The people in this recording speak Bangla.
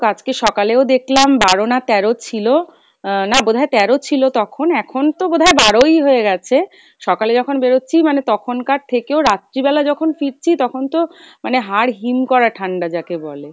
আজকে সকালেও দেখলাম বারো না তেরো ছিলো, আহ না বোধহয় তেরো ছিলো তখন এখন তো বোধহয় বারোই হয়ে গেছে, সকালে যখন বেরোচ্ছি মানে তখন কার থেকেও রাত্রি বেলা যখন ফিরছি তখন তো মানে হাড় হিম করা ঠাণ্ডা যাকে বলে,